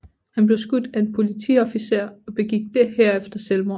Han blev skudt af en politiofficer og begik herefter selvmord